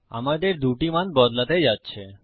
আমাদের ২ টি মান বদলাতে যাচ্ছে